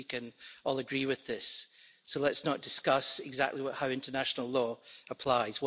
I think we can all agree with this, so let's not discuss exactly how international law applies.